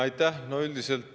Aitäh!